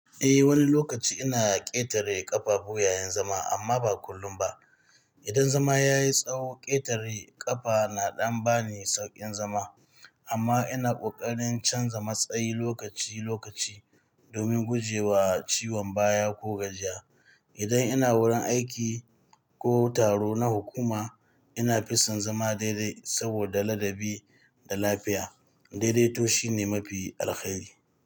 Eh, wani lokaci ina ƙetare ƙafafu yayin zama amma ba kullum ba. Idan zama ya yi tsawo, ƙetare ƙafa na ɗan ba ni sauƙin zama. Amma ina ƙoƙarin canza matsayi lokaci-lokaci domin guje wa ciwon baya ko gajiya. Idan ina wurin aiki ko taro na hukuma, ina fi son zama daidai saboda ladabi da lafiya. Daidaito shine mafi alkhairi.